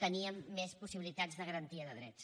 teníem més possibilitats de garantia de drets